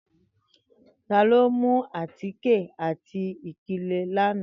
Tani o mu átíké ati ipilẹ lana?